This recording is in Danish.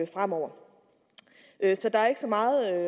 fremover så der er ikke så meget at